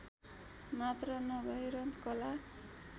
मात्र नभएर कला